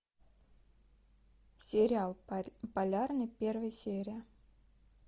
сериал полярный первая серия